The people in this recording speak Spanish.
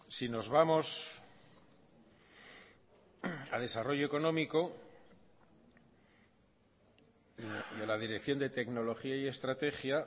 si nos vamos a desarrollo económico de la dirección de tecnología y estrategia